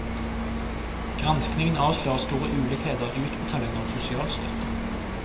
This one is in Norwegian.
Granskningen avslører store ulikheter i utbetalingene av sosialstøtte.